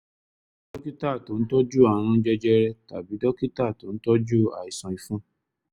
wá dókítà tó ń tọ́jú ààrùn jẹjẹrẹ tàbí dókítà tó ń tọ́jú àìsàn ìfun